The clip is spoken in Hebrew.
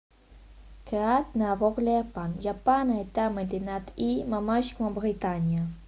כעת נעבור ליפן יפן הייתה מדינת אי ממש כמו בריטניה